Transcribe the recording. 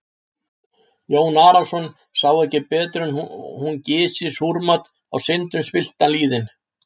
Jón Arason sá ekki betur en hún gysi súrmat á syndum spilltan lýðinn.